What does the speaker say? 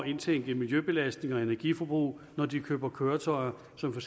indtænke miljøbelastning og energiforbrug når de køber køretøjer som for